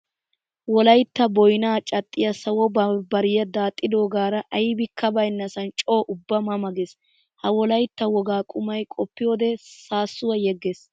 Wolaytta boynnaa cadhdhiya sawo bambbariya daaxxidogaara aybikka baynnassan coo ubba ma ma geesi. Ha wolaytta wogaa qumay qoppiyode saasuwa yegeesesi.